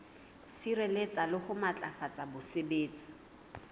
sireletsa le ho matlafatsa botsebi